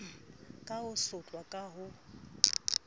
ka ho sotlwa ka ho